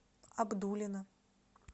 абдулино